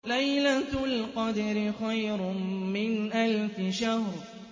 لَيْلَةُ الْقَدْرِ خَيْرٌ مِّنْ أَلْفِ شَهْرٍ